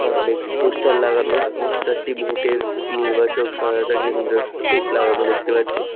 সামনে একটি পোস্টার লাগানো পোস্টার টি ভোটের নির্বাচক সহায়তা কেন্দ্রের থেকে লাগানো দেখতে পাচ্ছি।